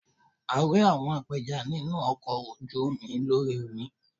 A rí àwọn apẹja nínú ọkọ̀ ojú omi lórí omi.